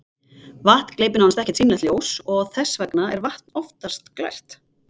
Vatn gleypir nánast ekkert sýnilegt ljós og þess vegna er vatn oftast glært.